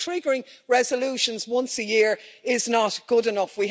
So triggering resolutions once a year is not good enough.